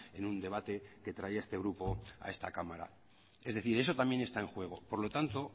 en un debate que traía este grupo a esta cámara es decir eso también está en juego por lo tanto